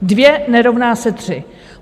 Dvě nerovná se tři.